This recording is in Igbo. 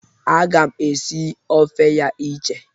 Aga m esi ofe ya iche.